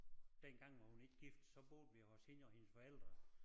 Dengang var hun ikke gift så boede vi hos hende og hendes forældre